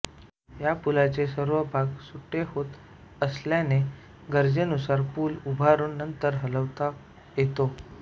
या पुलाचे सर्व भाग सुटे होत असल्याने गरजेनुसार पूल उभारून नंतर हलवता येतो